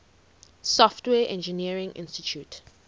software engineering institute